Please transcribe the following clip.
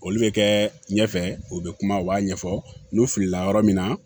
Olu bɛ kɛ ɲɛfɛ u bɛ kuma u b'a ɲɛfɔ n'u filila yɔrɔ min na